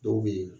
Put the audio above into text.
Dɔw bɛ yen